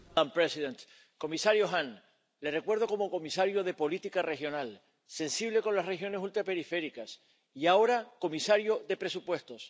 Señora presidenta, comisario Hahn, le recuerdo como comisario de Política Regional, sensible con las regiones ultraperiféricas y, ahora, comisario de Presupuestos.